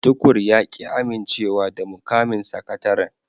Tukur ya ki amincewa da mukamin sakataren